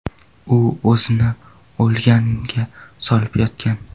U o‘zini o‘lganga solib yotgan.